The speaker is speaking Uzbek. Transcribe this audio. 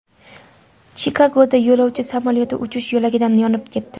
Chikagoda yo‘lovchi samolyoti uchish yo‘lagida yonib ketdi.